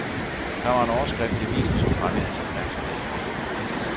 Der var en overskrift i avisen, som fangede hans opmærksomhed.